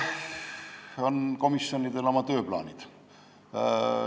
Jah, eks komisjonidel ole oma tööplaanid.